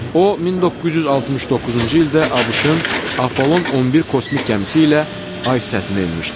O 1969-cu ildə ABŞ-ın Apollon 11 kosmik gəmisi ilə ay səthinə enmişdir.